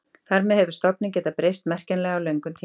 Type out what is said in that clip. Þar með hefur stofninn getað breyst merkjanlega á löngum tíma.